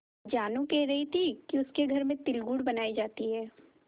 जानू कह रही थी कि उसके घर में तिलगुड़ बनायी जाती है